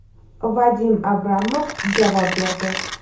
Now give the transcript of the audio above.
Vadim Abramov javob berdi.